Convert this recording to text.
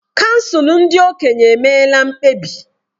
Kansụl ndị okenye emeela mkpebi.